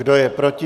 Kdo je proti?